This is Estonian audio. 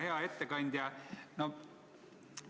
Hea ettekandja!